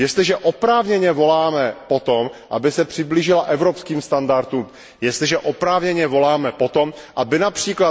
Jestliže oprávněně voláme po tom, aby se přiblížila evropským standardům, jestliže oprávněně voláme po tom, aby např.